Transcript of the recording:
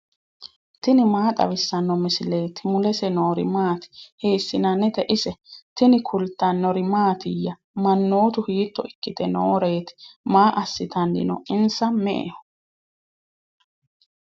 tini maa xawissanno misileeti ? mulese noori maati ? hiissinannite ise ? tini kultannori mattiya? Manootti hiitto ikkitte nooreetti? Maa asittanni noo? Insa me'eho